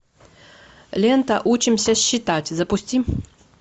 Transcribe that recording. лента учимся считать запусти